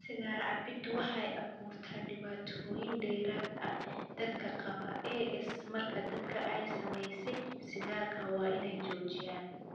Sigaar cabbiddu waxay u abuurtaa dhibaatooyin dheeraad ah dadka qaba AS, markaa dadka ay saamaysay sigaarka waa inay joojiyaan.